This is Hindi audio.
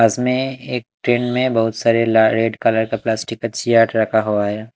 बस में एक ट्रेन में बहुत सारे ला रेड कलर का प्लास्टिक का सीएट रखा हुआ है।